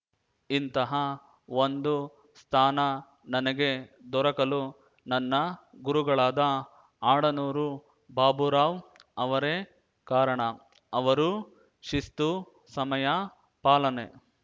ಇಂತಹ ಒಂದು ಸ್ಥಾನ ನನಗೆ ದೊರಕಲು ನನ್ನ ಗುರುಗಳಾದ ಆಡನೂರು ಬಾಬುರಾವ್‌ ಅವರೇ ಕಾರಣ ಅವರು ಶಿಸ್ತು ಸಮಯ ಪಾಲನೆ